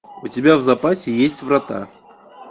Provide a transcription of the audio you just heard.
у тебя в запасе есть врата